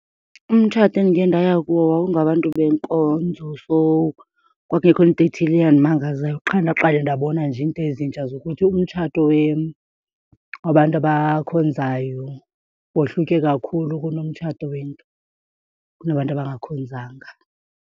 Umtshato endike ndaya kuwo wawungabantu benkonzo so kwakungekho nto etheni eyandimangazayo. Qha ndaqale ndabona nje iinto ezintsha zokuthi umtshato wabantu abakhonzayo wohluke kakhulu kunomtshato kunabantu abangakhonzanga.